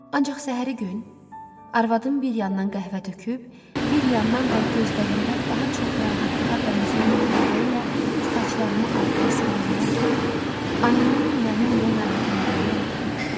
Ancaq səhəri gün, arvadım bir yandan qəhvə töküb, bir yandan da gözlərində daha çox narahatlığa bənzəyən ifadə ilə saçlarımı arxaya sığallayarkən ayının məni niyə narahat elədiyini anladım.